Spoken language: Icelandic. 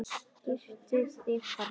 Girtu þig, þarna!